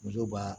Muso b'a